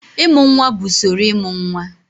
Ịmụ nwa bụ usoro ịmụ nwa.